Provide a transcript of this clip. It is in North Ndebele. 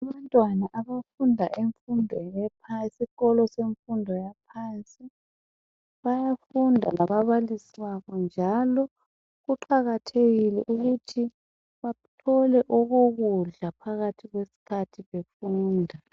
Abantwana abafunda emfundweni yesikolo semfundo yaphansi bayafunda lababalisi babo njalo kuqakathekile ukuthi bathole okokudla phakathi kwesikhathi befunda.